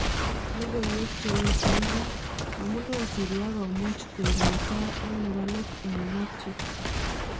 Lokoiwek cheyechen ra: amune Syria komuch koik netai ak nebo let eng Mathew.